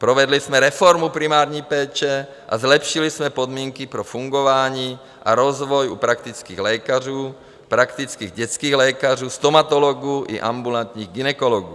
Provedli jsme reformu primární péče a zlepšili jsme podmínky pro fungování a rozvoj u praktických lékařů, praktických dětských lékařů, stomatologů i ambulantních gynekologů.